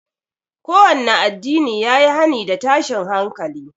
Kowanne addinin ya yi hani da tashin hankali